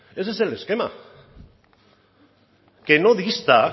ese es el esquema que no dista